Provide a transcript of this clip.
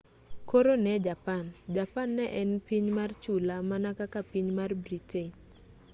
koro ne japan japan ne en piny mar chula mana kaka piny mar britain